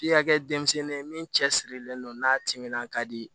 F'i ka kɛ denmisɛnnin ye min cɛ sirilen don n'a timinandiya di